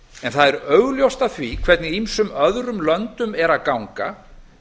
en það er augljóst af því hvernig öðrum löndum er að ganga